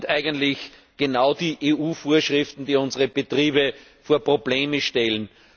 Was sind eigentlich genau die EU Vorschriften, die unsere Betriebe vor Probleme stellen?